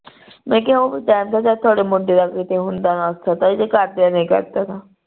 ਮੈਂ ਕਿਹਾ ਉਹ ਵੀ ਕਹਿਣ ਦਿਆਂ ਤੁਹਾਡੇ ਮੁੰਡੇ ਦਾ ਕਿਤੇ ਹੁੰਦਾ ਨਾ ਕਰਦੇ ਨੀ ਕਰਦੇ ਤਾਂ